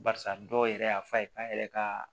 Barisa dɔw yɛrɛ y'a fɔ a ye k'a yɛrɛ ka